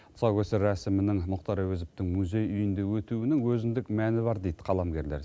тұсаукесер рәсімінің мұхтар әуезовтың музей үйінде өтуінің өзіндік мәні бар дейді қаламгерлер